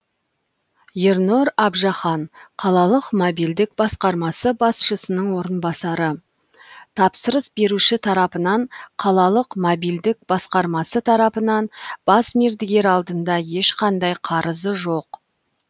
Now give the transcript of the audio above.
ернұр абжахан қалалық мобильдік басқармасы басшысының орынбасары тапсырыс беруші тарапынан қалалық мобильдік басқармасы тарапынан бас мердігер алдында ешқандай қарызы жоқ